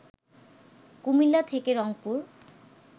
কুমিল্লা থেকে রংপুর